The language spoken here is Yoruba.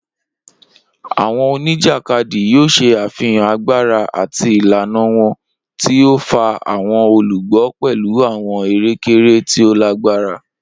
Awọn onijakadi yoo ṣe afihan agbara ati ilana wọn, ti o fa awọn olugbo pẹlu awọn ere-kere ti o lagbara.